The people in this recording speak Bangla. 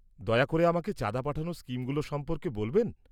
-দয়া করে আমাকে চাঁদা পাঠানোর স্কিমগুলো সম্পর্কে বলবেন।